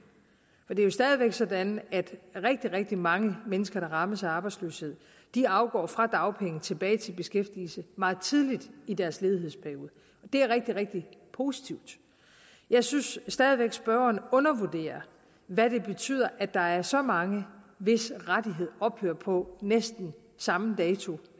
det er stadig væk sådan at rigtig rigtig mange mennesker der rammes af arbejdsløshed går fra dagpenge og tilbage i beskæftigelse meget tidligt i deres ledighedsperiode det er rigtig rigtig positivt jeg synes stadig væk spørgeren undervurderer hvad det betyder at der er så mange hvis rettighed ophører på næsten samme dato